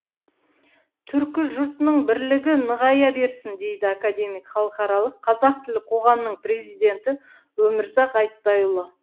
түркі жұртының бірлігі нығая берсін дейді академик халықаралық қазақ тілі қоғамының президенті өмірзақ айтбайұлы